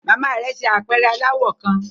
Mama rẹ ṣe apẹrẹ alawọ kan